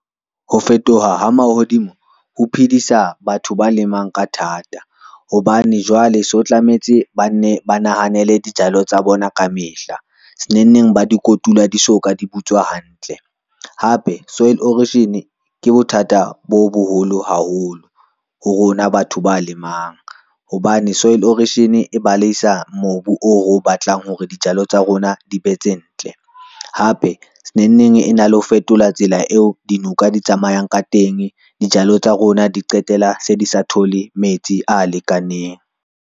Ho fetoha ha mahodimo ho phedisa batho ba lemang ka thata, hobane jwale so tlametse bane ba nahanele dijalo tsa bona ka mehla senengneng ba di kotula di so ka di butswa hantle. Hape soil erosion ke bothata bo boholo haholo, ho rona batho ba lemang hobane soil erosion e baleisa mobu o reo batlang hore dijalo tsa rona di be tse ntle. Hape senengneng e na le ho fetola tsela eo dinoka di tsamayang ka teng, dijalo tsa rona di qetela se di sa thole metsi a lekaneng.